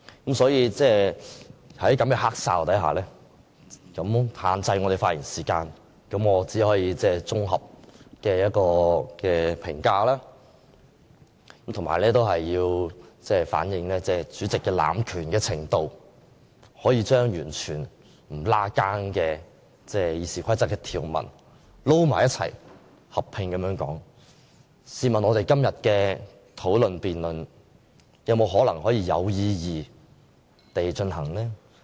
因此，在這樣的"黑哨"下，他這樣限制我們的發言時間，我只可以作綜合評價及反映主席濫權的程度，他可以將完全不相關的《議事規則》條文作合併辯論，試問我們今天的辯論還可以有意義地進行嗎？